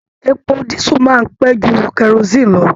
Èpò disu máa n pẹ jù kerosinni lọ.